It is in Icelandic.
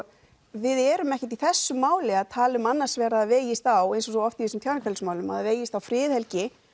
við erum ekki í þessu máli að tala um annars vegar að það vegist á eins og svo oft í þessum tjáningarfrelsismálum að það vegist á friðhelgi